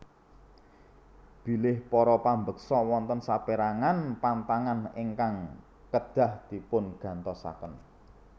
Bilih para pambeksa wonten sapérangan pantangan ingkang kedah dipungatosaken